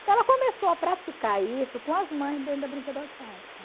Então ela começou a praticar isso com as mães dentro da brinquedoteca.